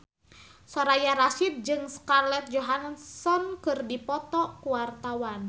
Soraya Rasyid jeung Scarlett Johansson keur dipoto ku wartawan